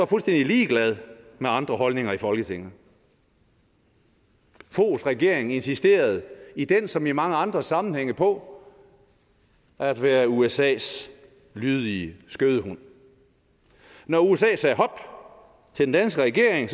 fuldstændig ligeglad med andre holdninger i folketinget foghs regering insisterede i den som i mange andre sammenhænge på at være usas lydige skødehund når usa til den danske regering